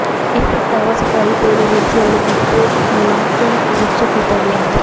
ਇਹ ਪ੍ਰਗਟਾਵਾ ਸਰਕਾਰੀ ਤੇਲ ਏਜੰਸੀਆਂ ਵੱਲੋਂ ਕੀਤੇ ਮੁਲੰਕਣ ਵਿੱਚ ਕੀਤਾ ਗਿਆ ਹੈ